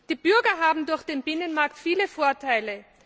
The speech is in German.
Die Bürger haben durch den Binnenmarkt viele Vorteile.